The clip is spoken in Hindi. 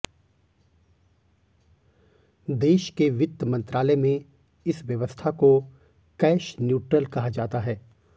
देश के वित्त मंत्रालय में इस व्यवस्था को कैश न्यूट्रल कहा जाता है